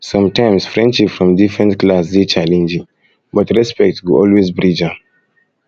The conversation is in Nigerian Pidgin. sometimes friendship from different class dey challenging but respect go always bridge am